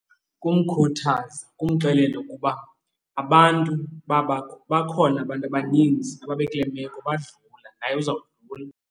Kumkhuthaza, kumxelela ukuba abantu bakhona abantu abaninzi ababe kule meko badlula. Naye uzawudlula.